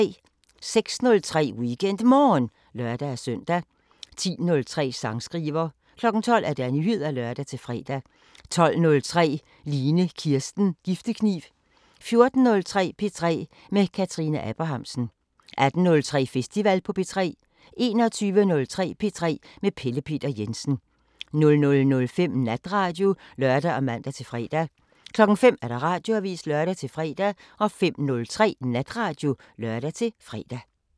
06:03: WeekendMorgen (lør-søn) 10:03: Sangskriver 12:00: Nyheder (lør-fre) 12:03: Line Kirsten Giftekniv 14:03: P3 med Kathrine Abrahamsen 18:03: Festival på P3 21:03: P3 med Pelle Peter Jensen 00:05: Natradio (lør og man-fre) 05:00: Radioavisen (lør-fre) 05:03: Natradio (lør-fre)